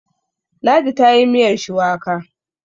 Ladi ta yi miyar shuwaka